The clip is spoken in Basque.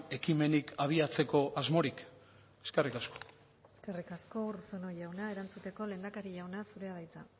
ekimenik abiatzeko asmorik eskerrik asko eskerrik asko urruzuno jauna erantzuteko lehendakari jauna zurea da hitza